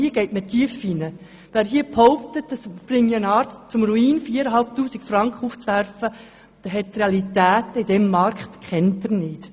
Hier ist man also tief, und wer behauptet, 4500 Franken würden einen Arzt in den Ruin treiben, kennt die Realität in diesem Markt nicht.